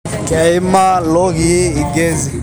Keimaa lokilii lgezi